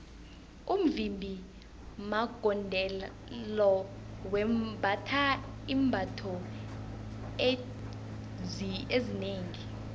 umvimbi magondelo wembatha iimbatho ezinengi